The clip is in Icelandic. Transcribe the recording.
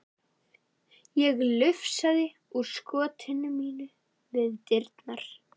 Ég lufsaðist úr skotinu mínu við dyrnar.